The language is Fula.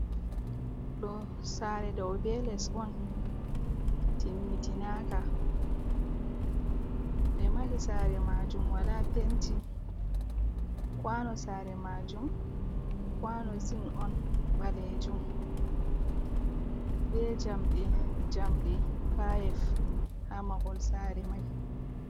Ɗo sare dow be les on timmitinaka, ɓe mahi sare majum wala penti kwano sare majum kwano zin on ɓalejum be jamɗe jamɗe payif ha mahol sare mai.